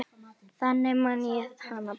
Þannig man ég hana best.